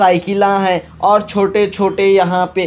साइकिलां है और छोटे छोटे यहाँ पे --